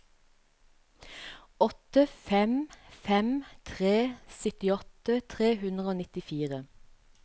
åtte fem fem tre syttiåtte tre hundre og nittifire